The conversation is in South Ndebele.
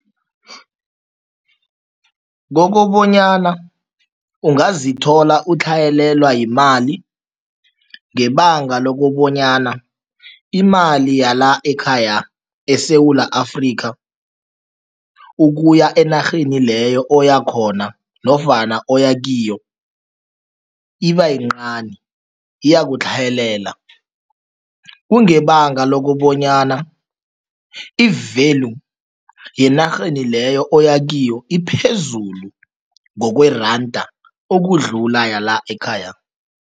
Kokobanyana ungazithola utlhayelelwa yimali ngebanga lokobanyana imali yala ekhaya eSewula Afrika, ukuya enarheni leyo oyakhona nofana oyakiyo, ibayincani iyakutlhayelela. Kungebanga lokobonyana i-value yenarheni leyo oyakiyo iphezulu ngokweranda, okudlula yala ekhaya.